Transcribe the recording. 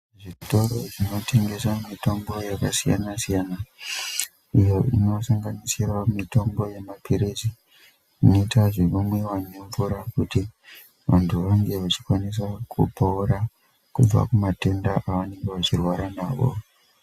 Zvitoro zvinotengeswa mitombo yakasiyana siyana inosanganisirawo mitombo yemapirizi inoita zvekumwiwa nemvura kuti vantu vakwanise kupora kubva matenda ava nenge vachirwara nawo.